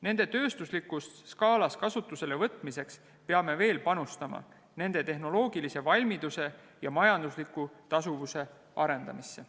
Nende tööstuslikus skaalas kasutusele võtmiseks peame veel panustama nende tehnoloogilise valmiduse ja majandusliku tasuvuse arendamisse.